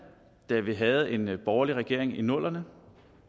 da vi havde en borgerlig regering i nullerne